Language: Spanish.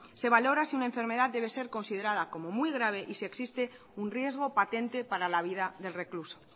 se valora si una enfermedad debe ser considerara como muy grave y si existe un riesgo patente para la vida del recluso